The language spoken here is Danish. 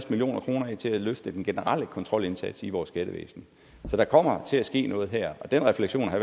million kroner af til at løfte den generelle kontrolindsats i vores skattevæsen så der kommer til at ske noget her så den refleksion har